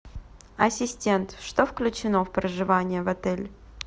ассистент что включено в проживание в отеле